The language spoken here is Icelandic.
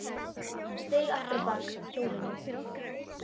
Hann steig aftur á bak hjólinu.